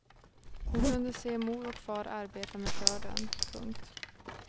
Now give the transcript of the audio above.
Hon kunde se mor och far arbeta med skörden. punkt